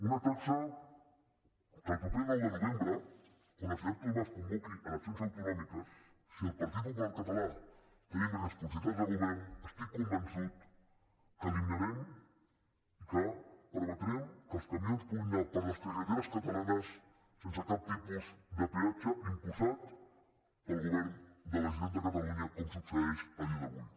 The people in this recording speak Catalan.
una taxa que el proper nou de novembre quan el senyor artur mas convoqui eleccions autonòmiques si el partit popular català tenim responsabilitats de govern estic convençut que eliminarem i que permetrem que els camions puguin anar per les carreteres catalanes sense cap tipus de peatge imposat pel govern de la generalitat de catalunya com succeeix el dia d’avui